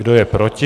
Kdo je proti?